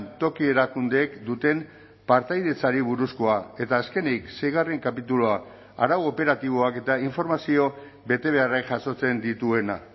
toki erakundeek duten partaidetzari buruzkoa eta azkenik seigarren kapitulua arau operatiboak eta informazio betebeharrak jasotzen dituena